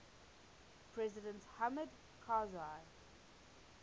president hamid karzai